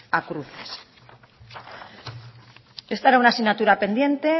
a cruces esta era una asignatura pendiente